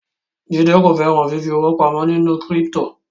Jide ko féràn fífi owo pàmò ní crypto